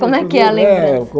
Como é que é a lembrança?